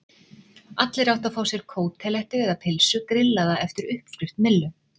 Allir áttu að fá sér kótelettu eða pylsu grillaða eftir uppskrift Millu.